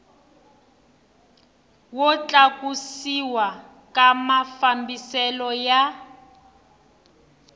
wo tlakusiwa ka mafambiselo ya